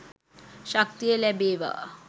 ශක්තිය ලැබේවා.